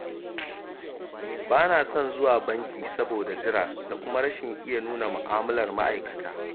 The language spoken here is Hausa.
Ba na son zuwa banki, saboda jira da kuma nuna rashin iya mu'amalar ma'aikata.